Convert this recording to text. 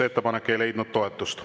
Ettepanek ei leidnud toetust.